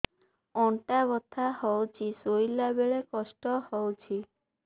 ଅଣ୍ଟା ବଥା ହଉଛି ଶୋଇଲା ବେଳେ କଷ୍ଟ ହଉଛି